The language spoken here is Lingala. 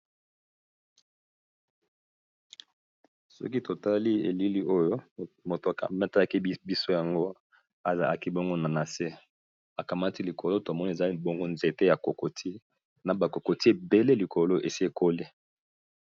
Soki totali elili oyo moto akamataki biso yango azaaki bongo na na se akamati likolo tomoni eza bongo nzete ya kokoti na bakokoti ebele likolo esekoli.